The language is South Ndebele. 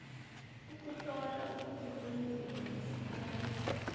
ukuhlola kuzokwenziwa ngesiphakamiso